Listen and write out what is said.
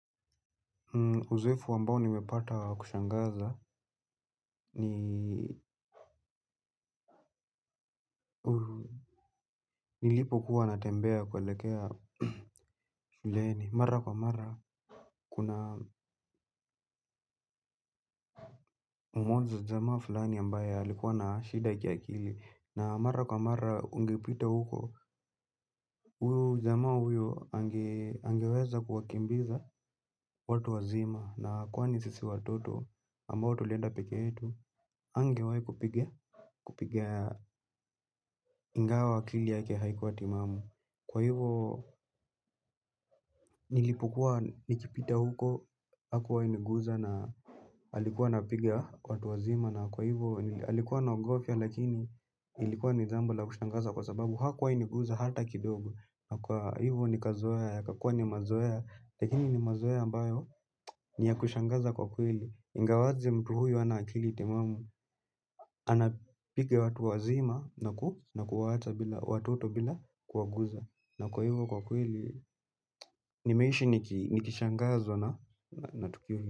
Uzoefu ambao nimepata wa kushangaza ni nilipo kuwa natembea kuelekea leni mara kwa mara kuna umozo jamaa fulani ambaye alikuwa na shida ya kiakili na mara kwa mara ungepita huko huyo jamaa huyo angeweza kuwakimbiza watu wazima na kwani sisi watoto ambao tulenda peke etu angewai kupiga ingawa akili yake haikuwa timamu. Kwa hivyo, nilipokua nikipita huko, hakuwai niguza na alikuwa anapiga watu wazima. Na kwa hivyo, alikuwa na ogofya lakini, ilikuwa ni jambo la kushangaza kwa sababu hakuwai niguza hata kidogo. Na kwa hivyo, nikazoea, yakakuwa ni mazoea, lakini nimazoea ambayo, ni yakushangaza kwa kweli ingawaje mtu huyo hana akili temamu, anapiga watu wazima na kuwaacha watoto bila kuwaguza. Na kwa hivyo kwa kweli, nimeishi nikishangazwa na tukio hilo.